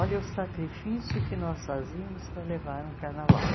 Olha o sacrifício que nós fazíamos para levar um carnaval.